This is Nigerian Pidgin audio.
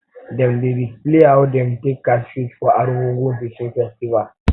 dem um dey display how dem dey take catch fish for um argungu um fishing festival